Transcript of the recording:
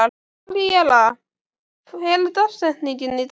Aríella, hver er dagsetningin í dag?